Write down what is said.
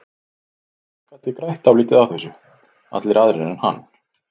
Fólk gat því grætt dálítið á þessu, allir aðrir en hann.